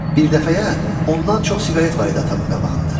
Bir dəfəyə ondan çox siqaret var idi atamın qabağında.